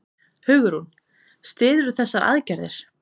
Hugrún: Styðurðu þessar aðgerðir?